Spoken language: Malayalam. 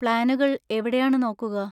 പ്ലാനുകൾ എവിടെയാണ് നോക്കുക?